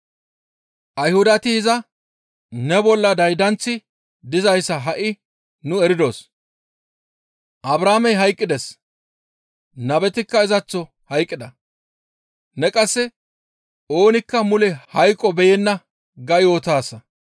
Ayhudati iza, «Ne bolla daydanththi dizayssa ha7i nuni eridos. Abrahaamey hayqqides; nabetikka izaththo hayqqida. Ne qasse, ‹Oonikka mule hayqo beyenna› ga yootaasa.